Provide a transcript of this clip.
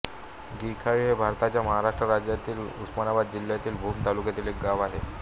गिखाळी हे भारताच्या महाराष्ट्र राज्यातील उस्मानाबाद जिल्ह्यातील भूम तालुक्यातील एक गाव आहे